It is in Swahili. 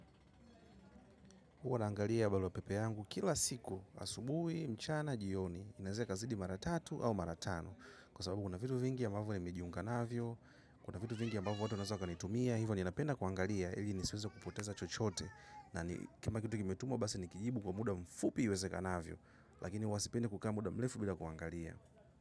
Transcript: Huwa naangalia barua pepe yangu kila siku asubuhi mchana na jioni inaweza ikazidi mara tatu au mara tano. Kwa sababu kuna vitu vingi ambavyo nimejiunga navyo, kuna vitu vingi ambavo watu wanaeza wakanitumia, hivyo ninapenda kuangalia, ili nisiweze kupoteza chochote. Na ni kama kitu kimetumwa, basi nikijibu kwa muda mfupi uwezekanavyo, lakini huwa sipendi kukaa muda mrefu bila kuangalia.